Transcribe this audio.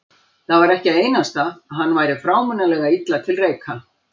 Það var ekki einasta að hann væri frámunalega illa til reika.